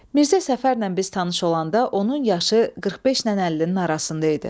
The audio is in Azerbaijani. Mirzə Səfərlə biz tanış olanda onun yaşı 45-lə 50-nin arasında idi.